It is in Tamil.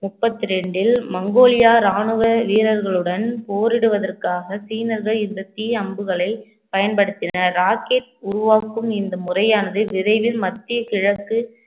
முப்பத்தி இரண்டில் மங்கோலியா ராணுவ வீரர்களுடன் போரிடுவதற்காக சீனர்கள் இந்த தீ அம்புகளை பயன்படுத்தினர் rocket உருவாக்கும் இந்த முறையானது விரைவில் மத்திய கிழக்கு